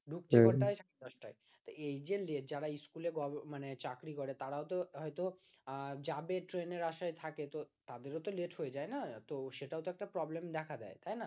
ঢুকছে কোটায় সাড়ে দশ টাই এই যে যারা স্কুল এ মানে চাকরি করে তারা ও তো হয়তো আহ যাবে ট্রেন এর আসায় থাকে তো তাদের ওতো late হয়ে যাই না তো সেটাও তো একটা problem দেখা দেয় তাই না